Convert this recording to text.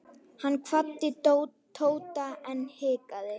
Hann kvaddi Tóta en hikaði.